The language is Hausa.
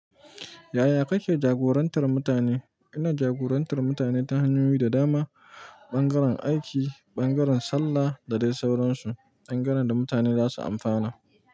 Yaya kake jagorantar mutane? Ina jagorantar mutane ta hanyoyi da dama, ɓangaren aiki, ɓangaren sallah da dai sauransu, bangare da mutane zasu amfana.